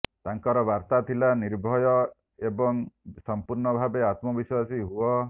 ତାଙ୍କର ବାର୍ତ୍ତା ଥିଲା ନିର୍ଭୟ ଏବଂ ସଂପୂର୍ଣ୍ଣଭାବେ ଆତ୍ମବିଶ୍ୱାସୀ ହୁଅ